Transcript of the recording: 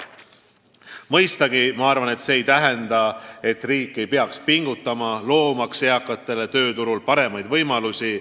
Mõistagi ei tähenda see, et riik ei peaks pingutama, loomaks eakatele tööturul paremaid võimalusi.